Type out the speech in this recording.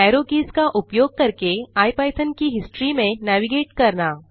arrow keys का उपयोग करके इपिथॉन की हिस्ट्री में नेविगेट करना